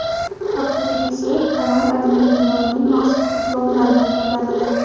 maktub egasi kanal admini tomonidan maxsus diplom bilan taqdirlanadi.